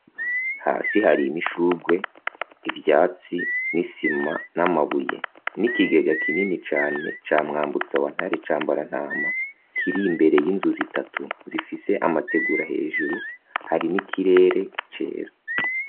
Hasi hari imishugwe, ivyatsi n'isima n'amabuye n'ikigega kinini cane ca Mwambutsa Wantare Cambarantama kiri imbere y'inzu zitatu zifise amategura hejuru, hari n'ikirere cera.